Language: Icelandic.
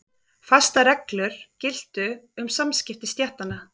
Fastar reglur giltu um samskipti stéttanna.